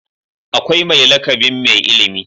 Akwai mai lakabin Mai ilimi.